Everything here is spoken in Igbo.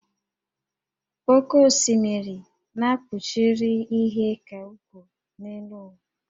Oké osimiri na kpuchiri ihe ka ukwuu n'elu ụwa